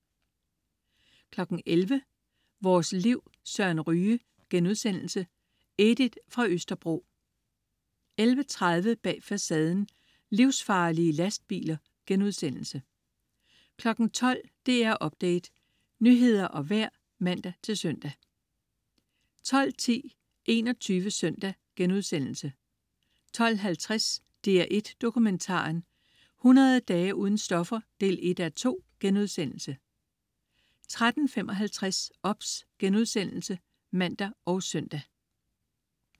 11.00 Vores Liv. Søren Ryge.* Edith fra Østerbro 11.30 Bag Facaden: Livsfarlige lastbiler* 12.00 DR Update. Nyheder og vejr (man-søn) 12.10 21 Søndag* 12.50 DR1 Dokumentaren: 100 dage uden stoffer 1:2* 13.55 OBS* (man og søn)